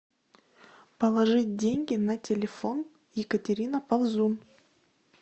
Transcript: положить деньги на телефон екатерина ползун